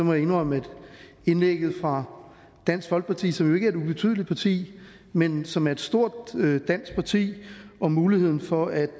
må jeg indrømme at indlægget fra dansk folkeparti som jo ikke er et ubetydeligt parti men som er et stort dansk parti om muligheden for at